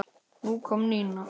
Nú kom Nína.